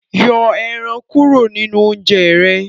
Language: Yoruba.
Yọ èràn kúrò ninú oúnjẹ rẹ